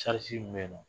min bɛ yen nɔ